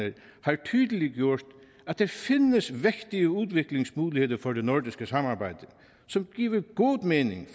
har tydeliggjort at der findes vægtige udviklingsmuligheder for det nordiske samarbejde som giver god mening